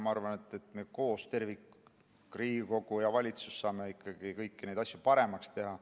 Ma arvan, et me koos, tervikuna, Riigikogu ja valitsus, saame kõiki neid asju paremaks teha.